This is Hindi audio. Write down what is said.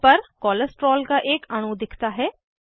पैनल पर कोलेस्टेरोल का एक अणु दिखता है